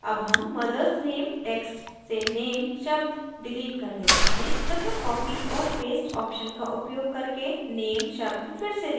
अब name mothers name text से name शब्द डिलीट कर देते हैं तथा copy और paste options का उपयोग करके name शब्द फिर से लिखते हैं